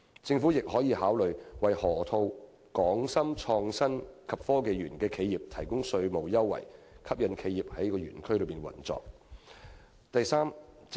政府亦可考慮為河套區"港深創新及科技園"的企業提供稅務優惠，吸引企業在該園區營運。